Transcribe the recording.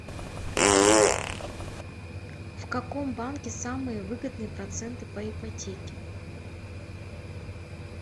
в каком банке самые выгодные проценты по ипотеке